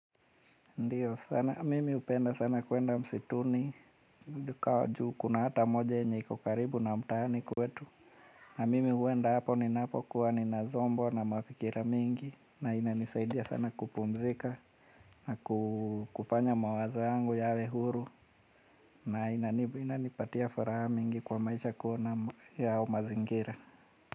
Ndiyo sana mimi hupenda sana kwenda msituni juu kuna hata moja yenye kukaribu na mtaani kwetu na mimi huenda hapo ninapo kuwa ni nazombwa na mafikira mingi na ina nisaidia sana kupumzika na kufanya mawazo yangu yawe huru na ina nipatia furaha mingi kwa maisha kuona yao mazingira.